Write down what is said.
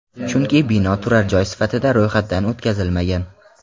Chunki bino turar joy sifatida ro‘yxatdan o‘tkazilmagan.